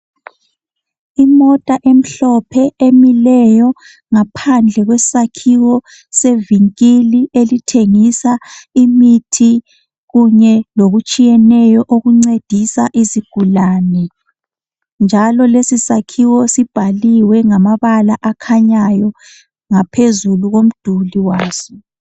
Imota emhlophe emileyo. Ngaphandle kwesakhiwo sevinkili, elithengisa imithi kunye lokutshiyeneyo, okuncedisa izigulane, njalo lesisakhiwo, sibhaliwe ngamabala akhanyayo, ngaphezulu komduli waso,